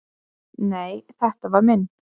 """Nei, þetta var minn"""